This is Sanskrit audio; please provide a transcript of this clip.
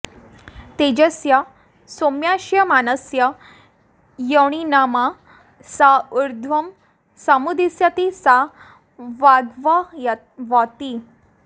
तेजसः सोम्याश्यमानस्य योऽणिमा स उर्ध्वः समुदीषति सा वाग्भवति